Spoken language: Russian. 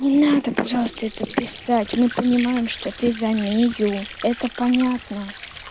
не надо пожалуйста это писать мы понимаем что ты за мию это понятно